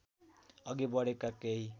अघि बढेका केही